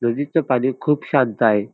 नदीचं पाणी खूप शांत आहे.